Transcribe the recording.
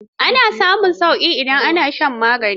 Ana samun sauƙi idan an sha magani.